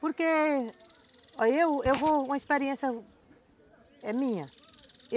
Porque aí aí eu vou, uma experiência, é minha.